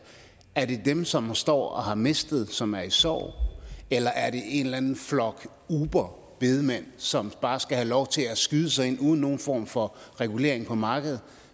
er det dem som står og har mistet som er i sorg eller er det en eller anden flok uberbedemænd som bare skal have lov til at skyde sig ind uden nogen form for regulering på markedet